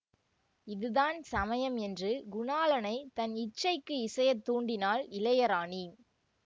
இதுதான் சமயம் என்று குணாளனைத் தன் இச்சைக்கு இசையத் தூண்டினாள் இளையராணி